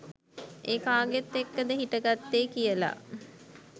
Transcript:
ඒ කාගෙත් එක්කද හිට ගත්තෙ කියලා?